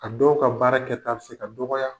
A dɔw ka baara kɛta be se ka dɔgɔya.